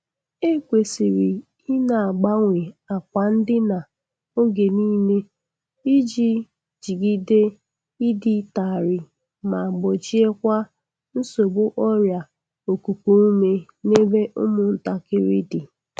E kwesịrị i na-agbanwe akwa ndina oge nịle iji jigideiịdị tarịị ma gbochiekwa nsogbu ọrịa okuku ume n'ebe ụmụ ntakịrị dị.